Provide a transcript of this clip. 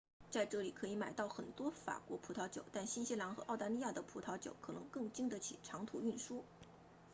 在这里可以买到很多法国葡萄酒但新西兰和澳大利亚的葡萄酒可能更经得起长途运输